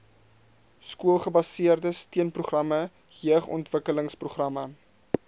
skoolgebaseerde steunprogramme jeugontwikkelingsprogramme